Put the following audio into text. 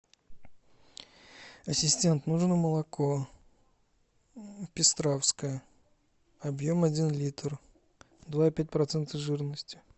ассистент нужно молоко пестровское объем один литр два и пять процента жирности